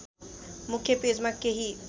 मुख्य पेजमा केही